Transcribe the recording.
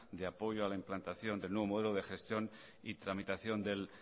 de apoyo a la implantación del nuevo modelo de gestión y tramitación del